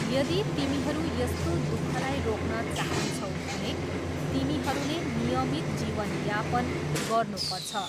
यदी तिमीहरू यस्तो दुखलाई रोक्न चाहान्छौ भने तिमीहरूले नियमित जीवनयापन गर्नुपर्छ।